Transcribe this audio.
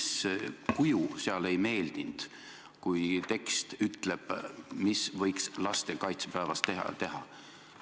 Mis kuju seal ei meeldinud, kui tekst ütleb, mida võiks lastekaitsepäevast teha?